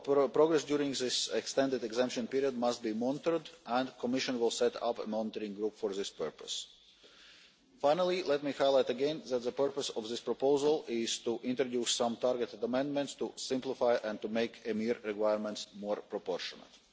Progress during this extended exemption period must be monitored, and the Commission will set up a monitoring group for this purpose. Finally, let me highlight again that the purpose of this proposal is to introduce some targeted amendments to simplify and to make EMIR requirements more proportionate.